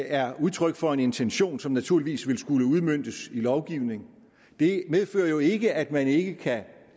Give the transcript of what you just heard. er udtryk for en intention som naturligvis vil skulle udmøntes i lovgivning det medfører jo ikke at man ikke kan